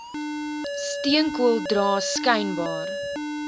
steenkool dra skynbaar